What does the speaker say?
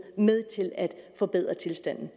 er med til at forbedre tilstanden